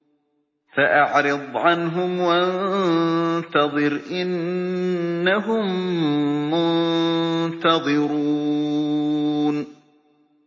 فَأَعْرِضْ عَنْهُمْ وَانتَظِرْ إِنَّهُم مُّنتَظِرُونَ